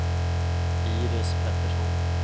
Iris Pettersson